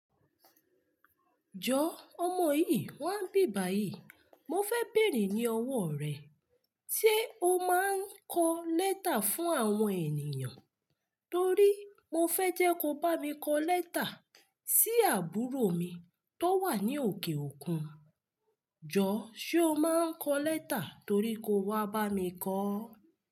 Jọ ọmọ yìí wá nbíbàyí, mo fẹ́ bèèrè ní ọwọ́ rẹ̀. Ṣé o máa ń kọ lẹ́tà fún àwọn ènìyàn? Torí mo fẹ́ jẹ́ ko bá mi kọ lẹ́tà sí àbúrò mi tó wà ní òkè òkun. Jọ, ṣe o máa ń kọ lẹ́tà torí ko wá bá mi kọ?